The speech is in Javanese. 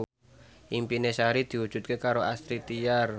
impine Sari diwujudke karo Astrid Tiar